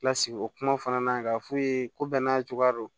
Lasigi o kuma fana na ka f'u ye ko bɛɛ n'a cogoya don